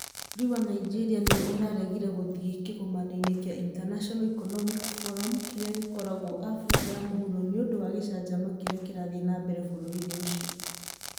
Bũrũri wa Nigeria nĩ ũraregire gũthiĩ kĩgomanoinĩ kĩa International Economic Forum kĩrĩa gĩgũkorwo Abirika ya mũhuro nĩ ũndũ wa gĩcanjama kĩrĩa kĩrathiĩ na mbere bũrũri-inĩ ũcio.